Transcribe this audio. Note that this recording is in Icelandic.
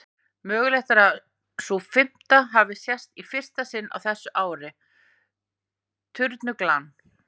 Mögulegt er að sú fimmta hafi sést í fyrsta sinn á þessu ári, turnuglan.